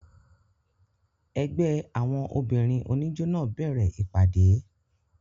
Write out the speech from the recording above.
Ẹgbẹ́ àwọn obìnrin oníjó náà bẹ̀rẹ̀ ìpàdé.